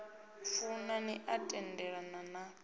funa ni a tendelana na